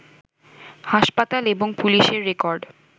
হাসপাতাল, এবং পুলিশের রেকর্ড